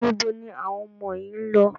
Níbo ni àwọn ọmọ yín lọ?